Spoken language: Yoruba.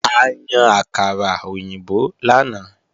A yan àkàrà òyìnbó lánàá